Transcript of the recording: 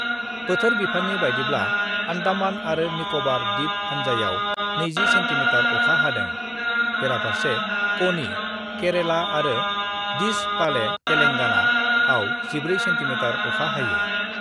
बोथोर बिफाननि बायदिब्ला आन्दामान आरो निकबार द्विप हान्जायाव 20 से:मिः अखा हादों, बेराफारसे कनि ( केरेला ) आरो डिच पाले ( तेलेंगाना ) आव 14 सेः मिः अखा हायो।